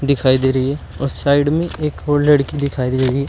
दिखाई दे रही है और साइड में एक और लड़की दिखाई दे रही है।